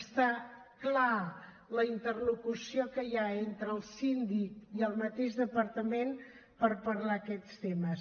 està clara la interlocució que hi ha entre el síndic i el mateix departament per parlar aquests temes